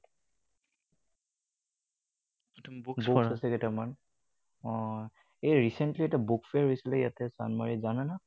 Books আছে কেইটামান। অ, এই recently ইয়াতে bookfare হৈছিলে ইয়াতে চান্দমাৰীত, জানা নহয়?